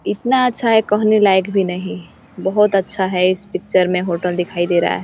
इतना अच्छा है कहने लायक भी नहीं बहोत अच्छा है। इस पिक्चर में होटल दिखाई दे रहा है।